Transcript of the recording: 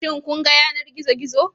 Shin kun ga yanar gizo-gizo.